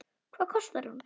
Hvað kostar hún?